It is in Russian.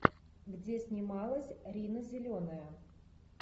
где снималась рина зеленая